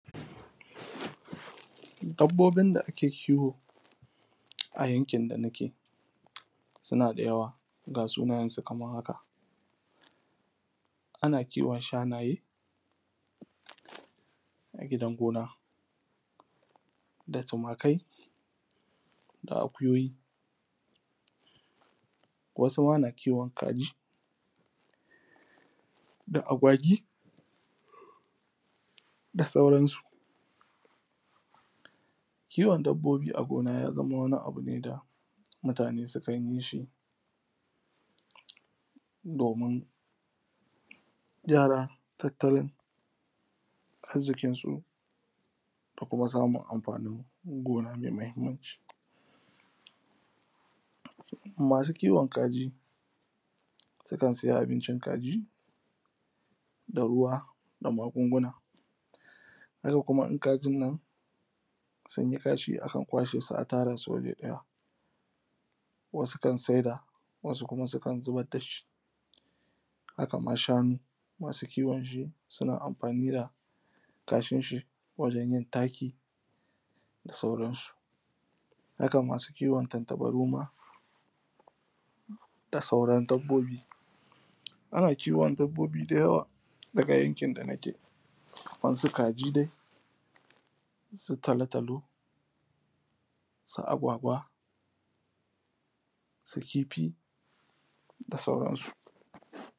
Dabbobin da ake kiwo a yankin dana ke, suna da yawa ga sunayen su kamar haka, ana kiwon shanaye a gidan gona da tumakai da akuyoyi, wasu ma na kiwon kaji, da agwagi da sauran su. Kiwon dabbobi a gona ya zama wani abu ne da mutane sukan yi shi domin gyara tattalin arziƙin su da kuma samun amfanin gona mai muhimmanci. Masu kiwon kaji sukan siya abincin kaji da ruwa da magunguna, haka kuma in kajin nan sunyi kasha aka kwashe shi aka tara su waje ɗaya, wasu kan saida wasu kuma sukan zubar dashi. Haka ma shanu, masu kiwon shi suna amfani da kashin shi wajen yin taki da sauran su. Haka ma su kiwon tantabaru ma da sauran dabbobi, ana kiwon dabbobi dai da yawa daga yankin nake, kamar su kaji dai, su talo-talo, su agwagwa, su kifi da sauran su.